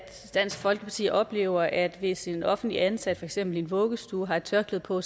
dansk folkeparti oplever at hvis en offentligt ansat for eksempel i en vuggestue har et tørklæde på